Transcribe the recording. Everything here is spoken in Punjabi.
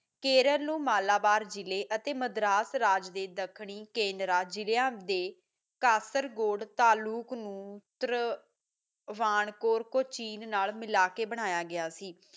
ਕੇਰਲ ਨੂੰ ਮਾਲਾਬਾਰ ਦੇ ਜਿਲ੍ਹੇ ਅਤੇ ਮਦਰਾਸ ਰਾਜ ਦਖਣੀ ਕੇਨਰਾ ਜਿਲਿਆਂ ਦੇ ਕਸਾਰ ਗੋਡ ਤਾਲੁਕ ਨੂੰ ਵਨਕੋਰ ਚੀਨ ਮਿਲਾ ਕੇ ਬਣਾਇਆ ਗਇਆ ਸੀ